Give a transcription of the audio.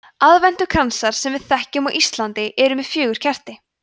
aðventukransar sem við þekkjum á íslandi eru með fjögur kerti